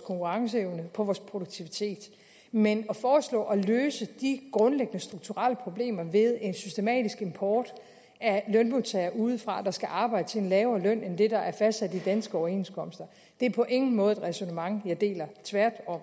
konkurrenceevne og på vores produktivitet men at foreslå at løse de grundlæggende strukturelle problemer ved en systematisk import af lønmodtagere udefra der skal arbejde til en lavere løn end det der er fastsat i danske overenskomster er på ingen måde et ræsonnement jeg deler tværtom